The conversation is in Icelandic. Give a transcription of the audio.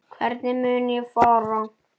Hvernig mun ég fara?